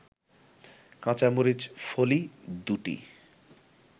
কাঁচামরিচ ফলি ২টি